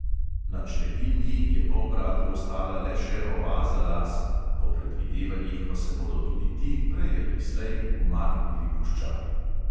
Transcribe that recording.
Na črepinji je polbratu ostala le še oaza las, po predvidevanjih pa se bodo tudi ti prej ali slej umaknili puščavi.